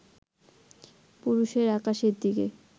পুরুষের আকাশের দিকে